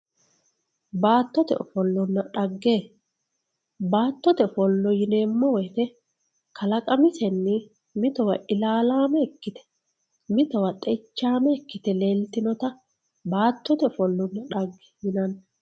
Batotte ofolonna dhage batotte ofolo yinemo woyite kalaqamasenni mittowa ilalame ikitte mittowa xeichame ikitte lelitinotta batotte ofolonna dhage yinanni